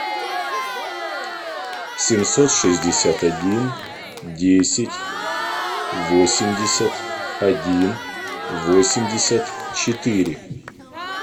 семьсот шестьдесят один десять восемьдесят один восемьдесят четыре